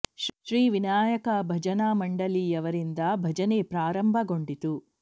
ಶ್ರೀ ವಿನಾಯಕ ಭಜನಾ ಮಂಡಳಿ ಯವರಿಂದ ಭಜನೆ ಪ್ರಾರಂಭ ಗೊಂಡಿತು